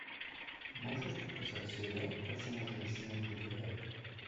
можешь показать сериал почему женщины убивают